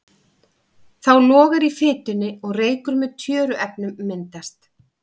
Þá logar í fitunni og reykur með tjöruefnum myndast.